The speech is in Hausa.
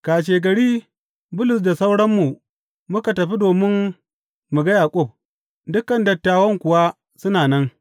Kashegari Bulus da sauranmu muka tafi domin mu ga Yaƙub, dukan dattawan kuwa suna nan.